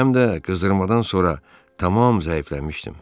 Həm də qızdırmadan sonra tamam zəifləmişdim.